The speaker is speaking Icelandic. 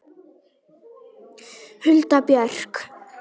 Hulda Björk.